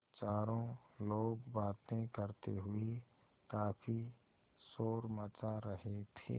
चारों लोग बातें करते हुए काफ़ी शोर मचा रहे थे